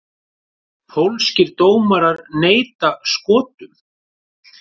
Pólskir dómarar neita Skotum